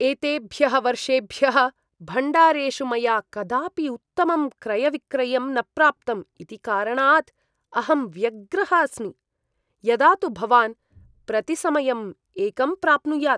एतेभ्यः वर्षेभ्यः भण्डारेषु मया कदापि उत्तमं क्रयविक्रयं न प्राप्तम् इति कारणात् अहं व्यग्रः अस्मि, यदा तु भवान् प्रतिसमयम् एकं प्राप्नुयात्।